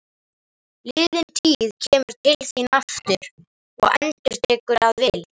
Liðin tíð kemur til þín aftur og endurtekin að vild.